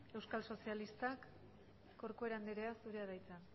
euskal sozialistak corcuera andrea zurea da hitza